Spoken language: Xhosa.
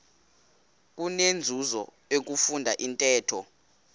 kunenzuzo ukufunda intetho